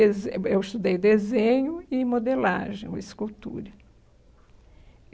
Eu eu estudei desenho e modelagem, escultura.